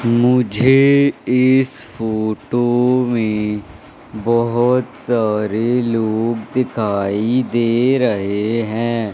मुझे इस फोटो में बहोत सारे लोग दिखाई दे रहे हैं।